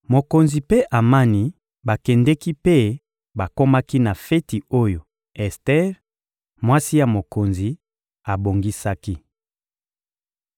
Mokonzi mpe Amani bakendeki mpe bakomaki na feti oyo Ester, mwasi ya mokonzi, abongisaki.